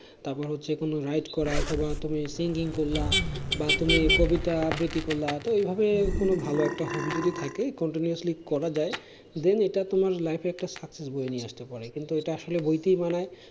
তার পর হচ্ছে কোনো ride করা তারপরে তুমি singing করলে বা তুমি কবিতা আবৃতি করলে তো এই ভাবে কোনো ভালো একটা hobby যদি থাকে continuously করা যায় then এটা তোমার life এ একটা success বয়ে নিয়ে আসতে পারে কিন্তু এটা আসলে বইতেই মানায়